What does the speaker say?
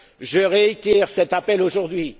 Je réitère cet appel aujourd'hui.